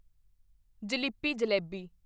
ਜਿਲੀਪੀ jalebi